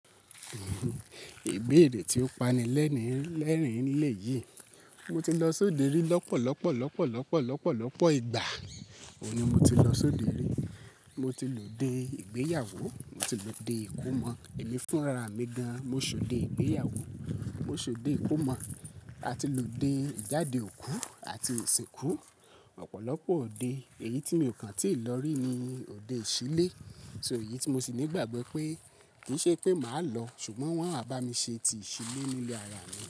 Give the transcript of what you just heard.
Iberè tí ó pani lẹ́ni lẹ́rìn-ín lelé yìí. Mo ti lọ sóde rí lọ́pọ̀lọ́pọ̀lọ́pọ̀lọ́pọ̀lọ́pọ̀lọ́pọ̀ ìgbà. Ó ní mo ti lọ sóde rí. Mo ti lòde ìgbéyàwó, mo ti lòde ìkómọ. Ẹni fúnra mi gan. Mo ṣòde ìgbéyàwó, mo ṣòde ìkómọ. A ti lòde ìjáde òkú àti ìsìnkú. Ọ̀pọ̀lọ́pọ̀ òde. Èyí tí mi kàn tí ì lọ rí ni òde ìṣílé. So yìí tí mo sì ní ìgbàgbọ́ pé kì í ṣe pé màá lọ, ṣùgbọ́n wọ́n á bá mi ṣe ti ìṣílé nílé ara mi.